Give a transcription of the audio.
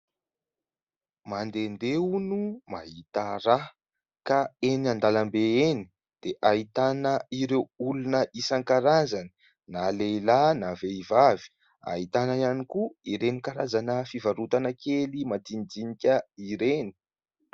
Mandehandeha hono mahita raha ka eny an-dalambe eny dia ahitana ireo olona isan-karazany na lehilahy na vehivavy, ahitana ihany koa ireny karazana fivarotana kely majinijinika ireny.